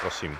Prosím.